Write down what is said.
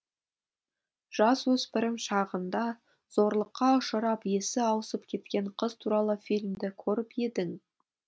жасөспірім шағында зорлыққа ұшырап есі ауысып кеткен қыз туралы фильмді көріп едің